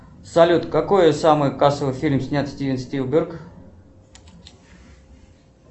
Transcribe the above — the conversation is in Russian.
салют какой самый кассовый фильм снял стивен спилберг